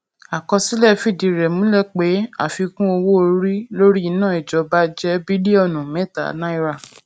àkọsílẹ fìdí rẹ múlẹ pé àfikún owó orí lórí iná ìjọba jẹ bílíọnù mẹta náírà